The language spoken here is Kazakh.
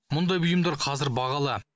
мұндай бұйымдар қазір бағалы